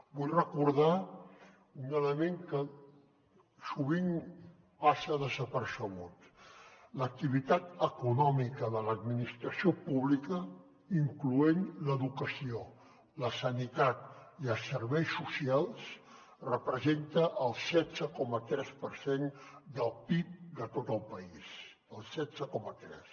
vull recordar un element que sovint passa desapercebut l’activitat econòmica de l’administració pública incloent hi l’educació la sanitat i els serveis socials representa el setze coma tres per cent del pib de tot el país el setze coma tres